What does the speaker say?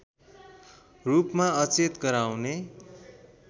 रूपमा अचेत गराउने